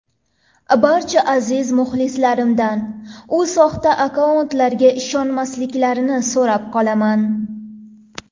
Barcha aziz muxlislarimdan u soxta akkauntlarga ishonmasliklarini so‘rab qolaman.